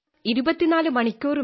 24 മണിക്കൂറും